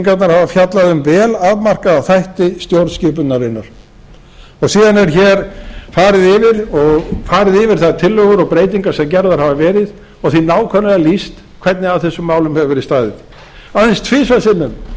að stjórnarskrárbreytingarnar hafa fjallað um vel afmarkaða þætti stjórnskipunarinnar síðan er farið yfir þær tillögur og breytingar sem gerðar hafa verið og því nákvæmlega lýst hvernig að þessum málum hefur verið staðið aðeins tvisvar sinnum